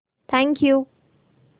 thank you